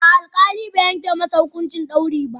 A'a, alkali bai yanke masa hukuncin dauri ba.